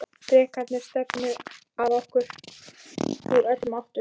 Drekarnir stefna að okkur úr öllum áttum.